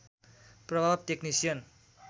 प्रभाव टेक्निसियन